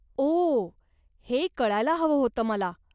ओह, हे कळायला हवं होतं मला.